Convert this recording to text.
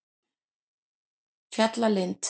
Fjallalind